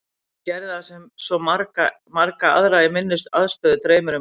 Ég gerði það sem svo marga aðra í minni aðstöðu dreymir um að gera.